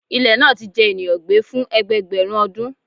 Ilẹ naa ti jẹ eniyan gbe fun ẹgbẹẹgbẹrun ọdun